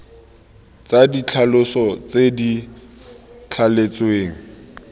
tsa ditlhaloso tse di thaletsweng